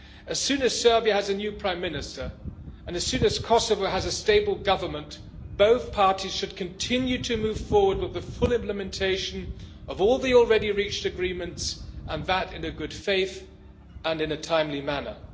As soon as Serbia has a new prime minister, and as soon as Kosovo has a stable government, both parties should continue to move forward with the full implementation of all the already reached agreements, and that in good faith and in a timely manner.